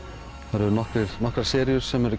það eru nokkrar nokkrar seríur sem